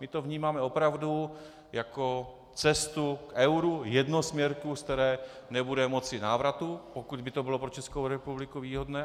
My to vnímáme opravdu jako cestu k euru, jednosměrku, ze které nebude moci návratu, pokud by to bylo pro Českou republiku výhodné.